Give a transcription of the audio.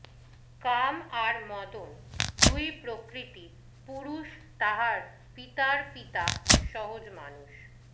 কাম আর মদন দুই প্রকৃতি পুরুষ তাহার পিতার পিতা সহজ মানুষ